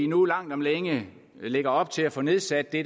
nu langt om længe lægger op til at få nedsat det